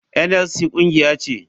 NLC kungiya ce.